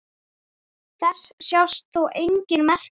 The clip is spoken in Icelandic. Þess sjást þó engin merki.